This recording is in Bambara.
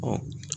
Ɔ